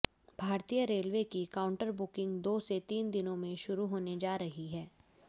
भारतीय रेलवे की counter booking दो से तीन दिनों में शरु होने जा रही है